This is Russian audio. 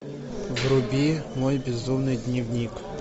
вруби мой безумный дневник